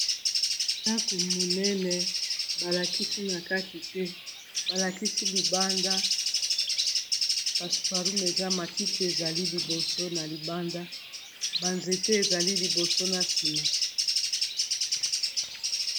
Bandako monene balakisi na kati te balakisi libanda passe paroom eza matiti ezali liboso na libanda banzete ezali liboso na nsima.